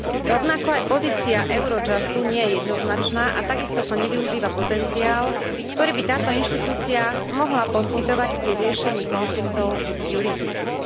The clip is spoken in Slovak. Rovnako aj pozícia Eurojustu nie je jednoznačná a takisto sa nevyužíva potenciál, ktorý by táto inštitúcia mohla poskytovať pri riešení konfliktov jurisdikcií.